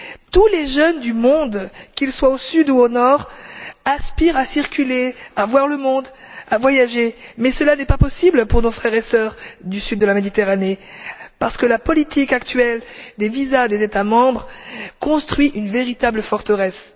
Tous les jeunes du monde, qu'ils soient au sud ou au nord, aspirent à circuler, à voir le monde, à voyager, mais cela n'est pas possible pour nos frères et sœurs du sud de la Méditerranée, parce que la politique actuelle des visas des États membres construit une véritable forteresse.